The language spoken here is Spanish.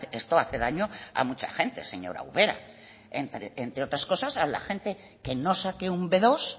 esto hace daño a mucha gente señora ubera entre otras cosas a la gente que no saque un be dos